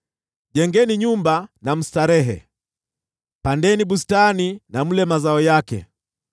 “Jengeni nyumba na mstarehe, pandeni bustani na mle mazao yake.